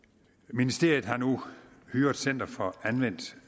ministeriet har nu hyret center for anvendt